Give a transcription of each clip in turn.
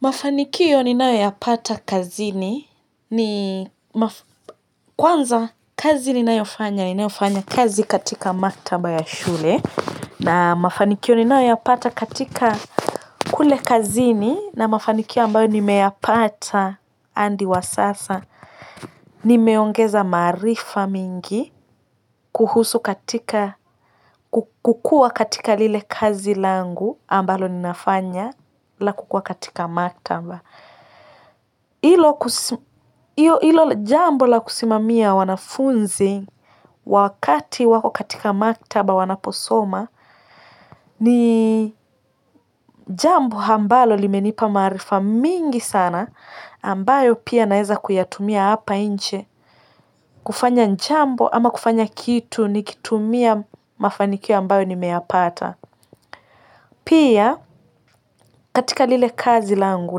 Mafanikio ninayoyapata kazini kwanza kazi ni nayo yafanya. Ni nao yafanya kazi katika maktaba ya shule. Na mafanikiyo ni nao yapata katika kule kazini. Na mafanikio ambayo ni meyapata hadi wa sasa. Ni meongeza maarifa mingi. Kuhusu katika kukua katika lile kazi langu ambalo ni nafanya. La kukuwa katika maktaba. Hilo jambo la kusimamia wanafunzi wakati wako katika maktaba wanaposoma ni jambo ambalo limenipa maarifa mingi sana ambayo pia naweza kuyatumia hapa nje kufanya jambo ama kufanya kitu nikitumia mafanikio ambayo nimeyapata. Pia katika lile kazi langu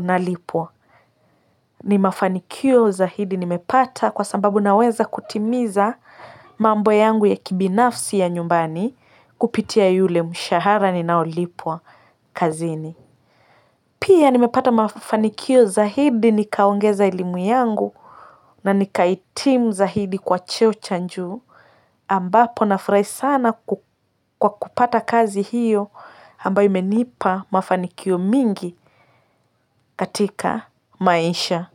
na lipwa ni mafanikio zaidi ni mepata kwa sababu naweza kutimiza mambo yangu ya kibinafsi ya nyumbani kupitia yule mshahara ni naolipwa kazini. Pia nimepata mafanikio zaidi nikaongeza elimu yangu na nikahitimu zaidi kwa cheo cha juu ambapo na furahi sana kwa kupata kazi hiyo ambayo imenipa mafanikio mingi katika maisha.